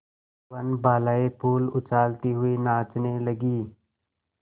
वनबालाएँ फूल उछालती हुई नाचने लगी